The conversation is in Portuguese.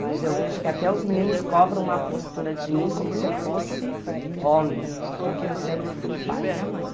Mas eu vejo que até os meninos cobram uma postura de mim como se eu fosse homem, porque eu sempre fui o pai e a mãe.